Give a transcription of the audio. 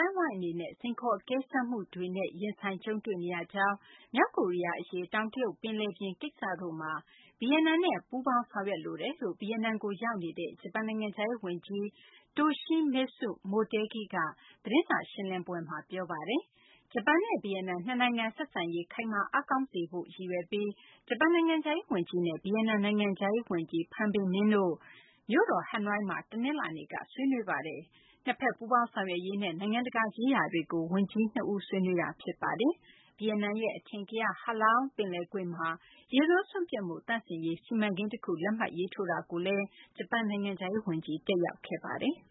င်းအဝိုင်း အနေနဲ့ စိန်ခေါ် အကဲစမ်းမှု အများအပြားနဲ့ ရင်ဆိုင် ကြုံတွေ့နေရကြောင်း၊ မြောက်ကိုရီးယား အရေး၊ တောင်တရုတ်ပင်လယ်ပြင် ကိစ္စတို့မှာ ဗီယက်နမ်နဲ့ ပူးပေါင်းဆောင်ရွက်လိုတယ်လို့ ဗီယက်နမ်ကို ရောက်ရှိနေတဲ့ ဂျပန်နိုင်ငံခြားရေး ဝန်ကြီး Toshimitsu Motegi က သတင်းစာရှင်းလင်းပွဲမှာ ပြောဆိုပါတယ်။ ဂျပန်နဲ့ ဗီယက်နမ် နှစ်နိုင်ငံ ဆက်ဆံရေး ခိုင်မာအားကောင်းစေရေး ရည်ရွယ်ပြီး ဂျပန် နိုင်ငံခြားရေး ဝန်ကြီး Toshimitsu Motegi နဲ့ ဗီယက်နမ် နိုင်ငံခြားရေး ဝန်ကြီး Pham Binh Minh တို့ ဗီယက်နမ်နိုင်ငံ မြို့တော် ဟနွိုင်းမှာ တနလာၤနေ့က တွေ့ဆုံ ဆွေးနွေးခဲ့ကြပါတယ်။ နှစ်ဘက် ပူးပေါင်းဆောင်ရွက်ရေးနဲ့ နိုင်ငံတကာရေးရာတွေကို နိုင်ငံခြားရေး ဝန်ကြီး နှစ်ဦး ဆွေးနွေးခဲ့ကြတာ ဖြစ်ပါတယ်။ ဗီယက်နမ်ရဲ့ အထင်ကရ Ha Long ပင်လယ်ကွေ့မှာ ရေဆိုးစွန့်ပစ်မှု သန့်စင်ရေး စီမံကိန်း တခု လက်မှတ်ရေးထိုးမှုကို ဂျပန် နိုင်ငံခြားရေး ဝန်ကြီး တက်ရောက်ခဲ့ပါတယ်။